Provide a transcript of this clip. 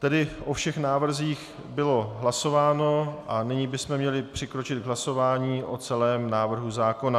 Tedy o všech návrzích bylo hlasováno a nyní bychom měli přikročit k hlasování o celém návrhu zákona.